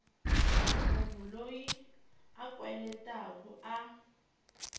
munhu loyi a kweletaku a